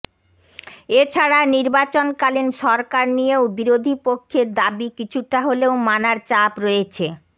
এ ছাড়া নির্বাচনকালীন সরকার নিয়েও বিরোধী পক্ষের দাবি কিছুটা হলেও মানার চাপ রয়েছে